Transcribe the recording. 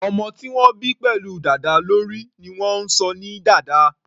Ọmọ tí wọ́n bí pẹ̀lú dàda lórí ni wọ́n ń sọ ní dàda.